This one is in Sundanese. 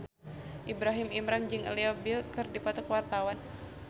Ibrahim Imran jeung Leo Bill keur dipoto ku wartawan